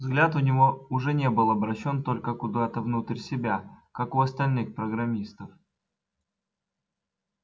взгляд у него уже не был обращён только куда-то внутрь себя как у остальных программистов